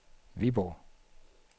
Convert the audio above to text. Viborg